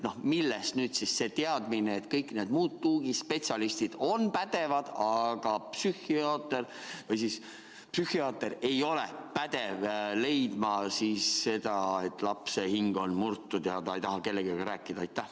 Ja millest nüüd siis see teadmine, et kõik need muud tugispetsialistid on pädevad, aga psühhiaater ei ole pädev leidma seda, et lapse hing on murtud ja ta ei taha kellegagi rääkida?